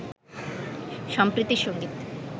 সম্প্রীতির সঙ্গীত